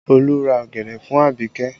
Olu ra ọ̀gẹ̀dẹ̀ fún abike